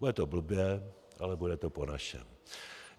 Bude to blbě, ale bude to po našem.